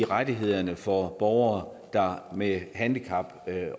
rettighederne for borgere med handicap